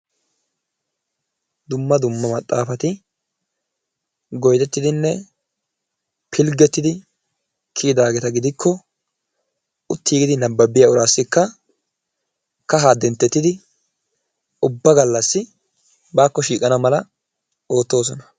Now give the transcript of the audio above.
Dumma dumma maxxaafati goyidettidinne pilggettidi kiyidaageeta gidikko uttiiggidi nabbabbiyageetussikka kahaa denttettidi ubba gallassi baakko shiiqana mala oottoosona.